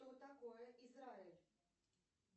что такое израиль